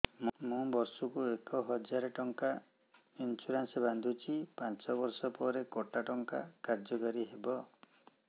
ମୁ ବର୍ଷ କୁ ଏକ ହଜାରେ ଟଙ୍କା ଇନ୍ସୁରେନ୍ସ ବାନ୍ଧୁଛି ପାଞ୍ଚ ବର୍ଷ ପରେ କଟା ଟଙ୍କା କାର୍ଯ୍ୟ କାରି ହେବ